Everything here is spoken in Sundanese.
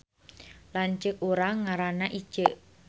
Lanceuk urang ngaranna Iceu